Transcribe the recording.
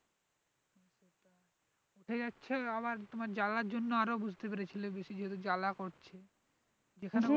উঠে যাচ্ছে আবার তোমার জ্বালার জন্য আরও বুঝতে পেরেছিলে বেশি জ্বালা করছে যেখানে